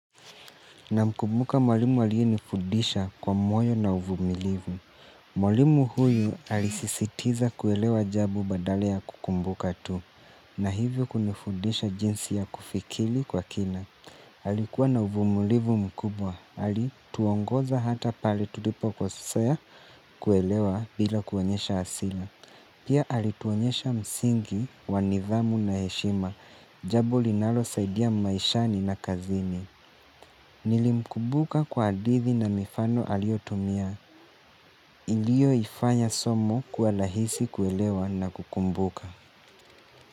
Namkumbuka mwalimu aliyenifundisha kwa moyo na uvumilivu. Mwalimu huyu alisisitiza kuelewa jabu badale ya kukumbuka tu. Na hivyo kunifudisha jinsi ya kufikili kwa kina. Halikuwa na uvumilivu mkubwa. Halituongoza hata pali tutipo kosea kuelewa bila kuonyesha asila. Pia alituonyesha msingi wa nithamu na heshima. Jabo linalo saidia maishani na kazini. Nilimkumbuka kwa adithi na mifano aliotumia ilio ifanya somo kuwa lahisi kuelewa na kukumbuka.